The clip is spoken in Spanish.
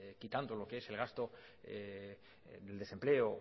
quitando lo que es el gasto de desempleo